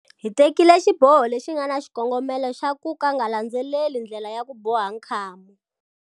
Hi tekile xiboho lexi nga na xikongomelo xa ku nga landzeleli ndlela ya ku boha nkhamu.